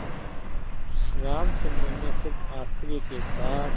रामचंद्र ने कुछ आश्चर्य के साथ